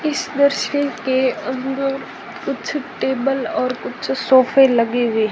इस दृश्य के अंदर कुछ टेबल और कुछ सोफे लगे हुए--